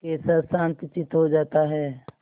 कैसा शांतचित्त हो जाता है